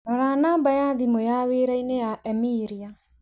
Rora namba ya thimũ ya wĩraĩnĩ ya Emilia